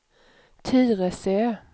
Tyresö